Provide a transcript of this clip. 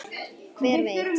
Hver veit